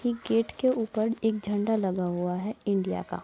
ठीक गेट एक उपर झंडा लगा हुआ है इंडिया का।